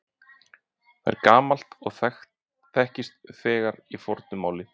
Það er gamalt og þekkist þegar í fornu máli.